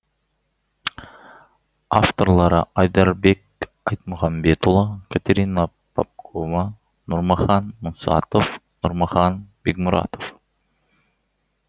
авторлары айдарбек айтмұхамбетұлы катерина попкова нұрмахан мұсатов нұрмахан бекмұратов